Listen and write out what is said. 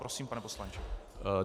Prosím, pane poslanče.